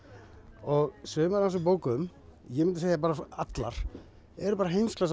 og sumar af þessum bókum ég myndi segja bara allar eru bara